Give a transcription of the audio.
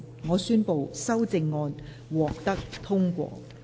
我宣布修正案獲得通過。